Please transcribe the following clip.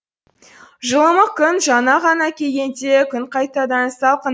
жылымық күн жаңа ғана келгенде күн қайтадан салқын